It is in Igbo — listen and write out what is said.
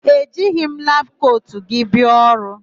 E jighị m labụ kotu gị bia ọrụ.